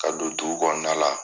Ka do dugukɔnɔna la